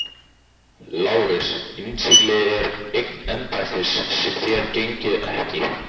LÁRUS: Innsiglið er eign embættis sem þér gegnið ekki.